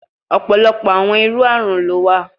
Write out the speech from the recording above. Ọpọlọpọ awọn iru arun lo wa